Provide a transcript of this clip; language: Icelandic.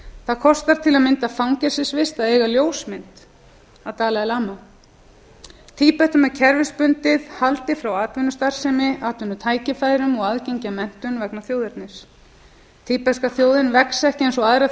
það kostar til að mynda fangelsisvist að eiga ljósmynd af dalai lama tíbetum er kerfisbundið haldið frá atvinnustarfsemi atvinnutækifærum og aðgengi að menntun vegna þjóðernis tíbeska þjóðin vex ekki eins og aðrar